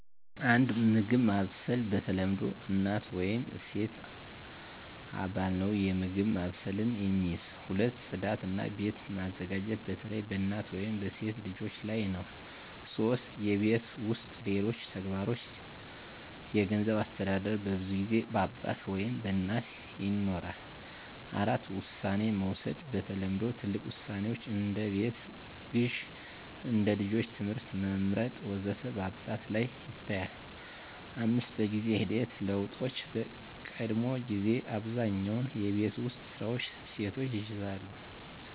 1. የምግብ ማብሰል በተለምዶ እናት ወይም ሴት አባል ነው የምግብ ማብሰልን የሚይዝ። 2. ጽዳት እና ቤት መዘጋጀት በተለይ በእናት ወይም በሴት ልጆች ላይ ነው 3. የቤት ውስጥ ሌሎች ተግባሮች የገንዘብ አስተዳደር በብዙ ጊዜ በአባት ወይም በእናት ይኖራል። 4. ውሳኔ መውሰድ በተለምዶ ትልቅ ውሳኔዎች (እንደ ቤት ግዢ፣ እንደ ልጆች ትምህርት መመርጥ ወዘተ) በአባት ላይ ይታያል፣ 5. በጊዜ ሂደት ለውጦች በቀድሞ ጊዜ አብዛኛውን የቤት ውስጥ ስራዎች ሴቶች ይይዛሉ